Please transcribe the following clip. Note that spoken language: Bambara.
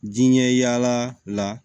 Diɲɛ yaala la